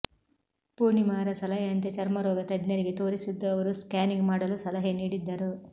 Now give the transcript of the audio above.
ಪೂರ್ಣಿಮಾರ ಸಲಹೆಯಂತೆ ಚರ್ಮರೋಗ ತಜ್ಞರಿಗೆ ತೋರಿಸಿದ್ದು ಅವರು ಸ್ಕ್ಯಾನಿಂಗ್ ಮಾಡಲು ಸಲಹೆ ನೀಡಿದ್ದರು